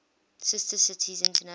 sister cities international